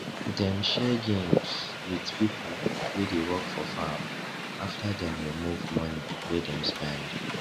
dem share gains with pipo wey dey work for farm after dem remove money wey dem spend